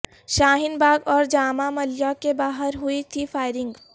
شاہین باغ اور جامعہ ملیہ کے باہر ہوئی تھی فائرنگ